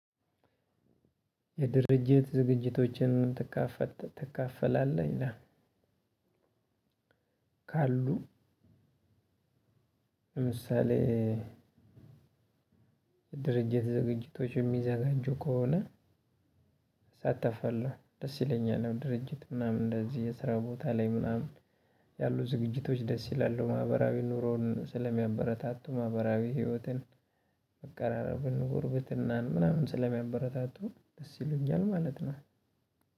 የድርጅት ዝግጅቶችን ትካፈላለህ? ይላል ካሉ ለምሳሌ ድርጅት ዝግጅቶች የሚዘጋጁ ከሆነ እሳተፋለሁ፣ ደስ ይለኛል ነው ድርጅት ምናምን እንደዚህ የስራ ቦታ ላይ ምናምን ያሉ ዝግጅቶች ደስ ይላሉ ማህበራዊ ኑሮን ስለሚያበረታቱ ማህበራዊ ህይወትን መቀራረብን ጉርብትናን ምናምን ስለሚያበረታቱ ደስ ይለኛል ማለት ነው።